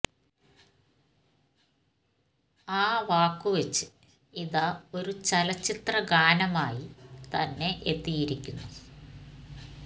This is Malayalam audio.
ആ വാക്കു വച്ച് ഇതാ ഒരു ചലച്ചിത്ര ഗാനമായി തന്നെ എത്തിയിരിക്കുന്നു